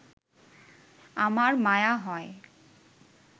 আমার মায়া হয়